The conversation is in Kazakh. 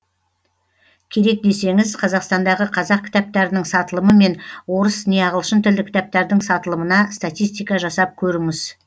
керек десеңіз қазақстандағы қазақ кітаптарының сатылымы мен орыс не ағылшын тілді кітаптардың сатылымына статистика жасап көріңіз